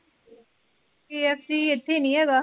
KFC ਇੱਥੇ ਨੀ ਹੈਗਾ